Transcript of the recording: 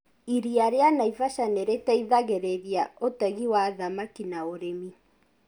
Iria rĩa Naivasha nĩ rĩteithagĩrĩria ũtegi wa thamaki na ũrĩmi.